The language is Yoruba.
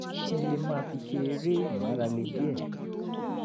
kí n lè máa fi ṣe eré ìmárale díẹ̀